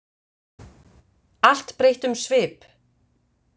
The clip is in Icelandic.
Allt breytti um svip.